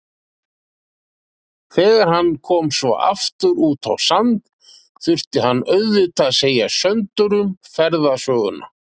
Þegar hann kom svo aftur út á Sand þurfti hann auðvitað að segja Söndurum ferðasöguna.